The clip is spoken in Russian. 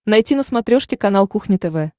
найти на смотрешке канал кухня тв